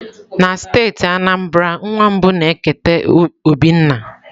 Na steeti Anambra, nwa mbụ na-eketa obi nna.